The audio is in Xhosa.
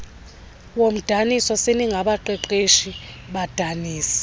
woomdaniso seningabaqeqeshi badanisi